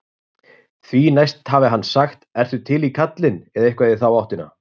Því næst hafi hann sagt ertu til í kallinn? eða eitthvað í þá áttina.